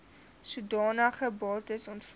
sodanige bates ontvang